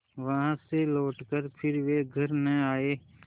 वहाँ से लौटकर फिर वे घर न आये